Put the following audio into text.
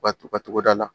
U ka t'u ka togoda la